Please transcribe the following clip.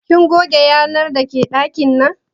Kin goge yanar dake ɗakin nan?